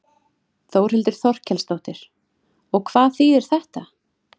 Þórhildur Þorkelsdóttir: Og hvað þýðir þetta?